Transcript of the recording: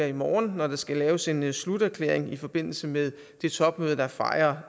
i morgen når der skal laves en sluterklæring i forbindelse med det topmøde der fejrer